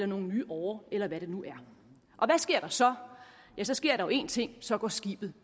nogle nye årer eller hvad det nu er og hvad sker der så så sker der jo én ting så går skibet